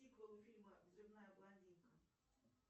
сиквел фильма взрывная блондинка